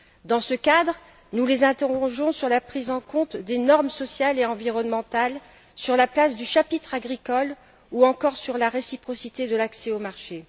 Dans ce cadre, nous les interrogeons sur la prise en compte des normes sociales et environnementales, sur la place du chapitre agricole, ou encore sur la réciprocité de l'accès au marché.